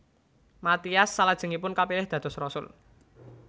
Matias salajengipun kapilih dados rasul